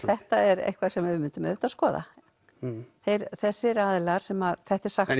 þetta er eitthvað sem við myndum auðvitað skoða þessir aðilar sem þetta er sagt